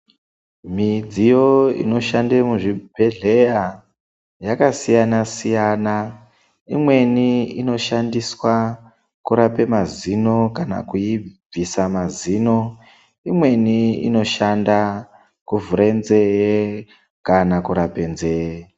Midziyo inoshande muzvibhedhleya yakasiyana siyana, imweni inoshandiswa kurape mazino kana kuibvisa mazino, imweni inoshanda kuvhure nzeye kana kurape nzee.